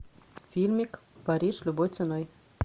фильмик париж любой ценой